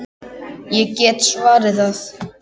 Ég get svarið það.